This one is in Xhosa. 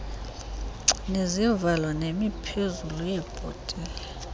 nezivalo nemiphezulu yeebhotile